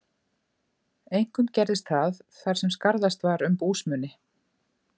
Einkum gerðist það, þar sem skarðast var um búsmuni.